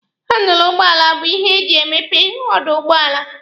Handụlụ ụgbọala bụ ihe eji emepe dọọlụ ụgbọala.